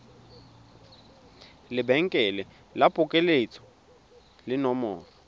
lebenkele la phokoletso le nomoro